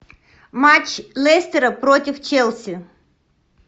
матч лестера против челси